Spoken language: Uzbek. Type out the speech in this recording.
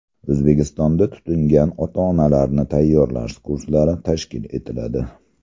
O‘zbekistonda tutingan ota-onalarni tayyorlash kurslari tashkil etiladi.